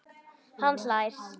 Hann hlær.